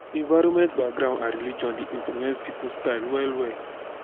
environment background and religion de influence pipo style well well